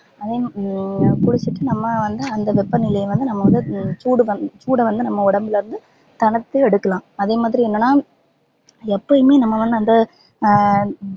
அதே உம் குளிச்சிட்டு நம்ப வந்து அந்த வெப்ப நிலைய வந்து நம்ப வந்து சூடு பண்ணனும் சூட வந்து நம்ப உடம்புல இருந்து எடுக்கலாம் அதே மாதிரி என்னனா எப்பயுமே நம்ப அந்த அஹ்